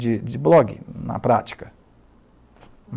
de de blog, na prática.